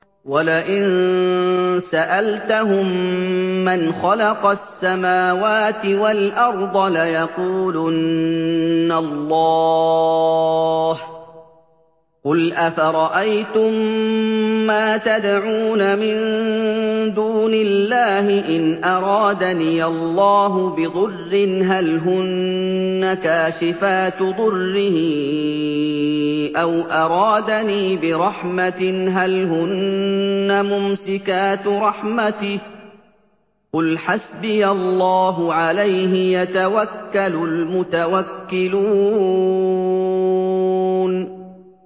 وَلَئِن سَأَلْتَهُم مَّنْ خَلَقَ السَّمَاوَاتِ وَالْأَرْضَ لَيَقُولُنَّ اللَّهُ ۚ قُلْ أَفَرَأَيْتُم مَّا تَدْعُونَ مِن دُونِ اللَّهِ إِنْ أَرَادَنِيَ اللَّهُ بِضُرٍّ هَلْ هُنَّ كَاشِفَاتُ ضُرِّهِ أَوْ أَرَادَنِي بِرَحْمَةٍ هَلْ هُنَّ مُمْسِكَاتُ رَحْمَتِهِ ۚ قُلْ حَسْبِيَ اللَّهُ ۖ عَلَيْهِ يَتَوَكَّلُ الْمُتَوَكِّلُونَ